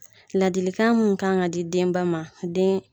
Ladilikan mun kan ka di denba ma den